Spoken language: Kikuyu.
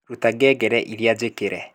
ruta ngengere iria jikire